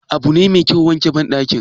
Abu ne Mai kyau wanke bandaki